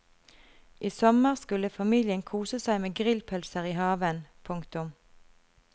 I sommer skulle familien kose seg med grillpølser i haven. punktum